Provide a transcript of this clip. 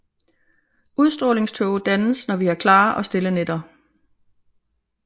Udstrålingtåge dannes når vi har klare og stille nætter